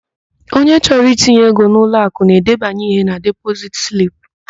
Onye chọrọ itinye ego n'ụlọakụ na-edebanye ihe na depozit slip.